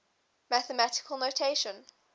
mathematical notation